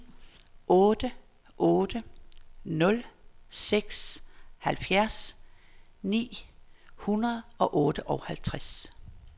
otte otte nul seks halvfjerds ni hundrede og otteoghalvtreds